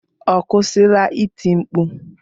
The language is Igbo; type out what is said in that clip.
Ọ kwụsịla iti mkpu?